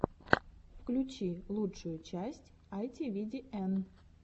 включи лучшую часть айтивидиэн